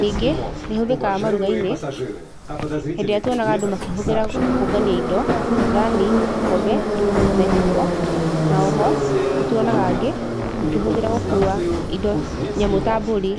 ningĩ nĩ íhũthĩkaga maruga-inĩ, hĩndĩ ĩrĩa tuonaga andũ makĩhũthĩra kũngania indo, thani, ikombe na iciko, na o ho nĩ tuonaga angĩ makĩhũthĩra gũkua indo, nyamũ ta mbũri.